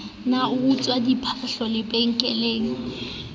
ne a utswitse diphahlo lebenkeleng